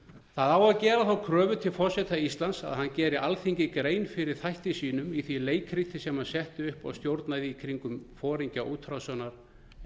það á að gera kröfu til forseta íslands að hann geri alþingi grein fyrir þætti sínum í því leikriti sem hann setti upp og stjórnaði í kringum foringja útrásina